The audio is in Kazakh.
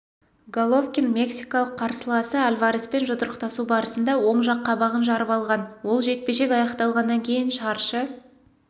головкин мексикалық қарсыласы альвареспен жұдырықтасу барысында оң жақ қабағын жарып алған ол жекпе-жек аяқталғаннан кейін шаршы